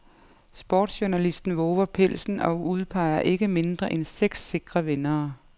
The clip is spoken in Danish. Sportsjournalisten vover pelsen og udpeger ikke mindre end seks sikre vindere.